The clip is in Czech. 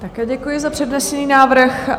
Také děkuji za přednesený návrh.